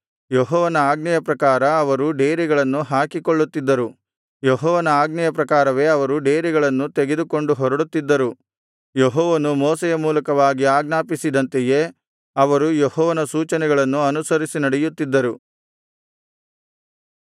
ಯೆಹೋವನ ಆಜ್ಞೆಯ ಪ್ರಕಾರ ಅವರು ಡೇರೆಗಳನ್ನು ಹಾಕಿಕೊಳ್ಳುತ್ತಿದ್ದರು ಯೆಹೋವನ ಆಜ್ಞೆಯ ಪ್ರಕಾರವೇ ಅವರು ಡೇರೆಗಳನ್ನು ತೆಗೆದುಕೊಂಡು ಹೊರಡುತ್ತಿದ್ದರು ಯೆಹೋವನು ಮೋಶೆಯ ಮೂಲಕವಾಗಿ ಆಜ್ಞಾಪಿಸಿದಂತೆಯೇ ಅವರು ಯೆಹೋವನ ಸೂಚನೆಗಳನ್ನು ಅನುಸರಿಸಿ ನಡೆಯುತ್ತಿದ್ದರು